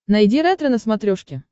найди ретро на смотрешке